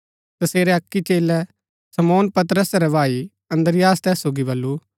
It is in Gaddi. तसेरै अक्की चेलै शमौन पतरसा रै भाई अन्द्रियास तैस सोगी बल्लू